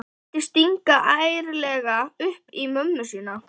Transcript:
Vildi stinga ærlega upp í mömmu sína.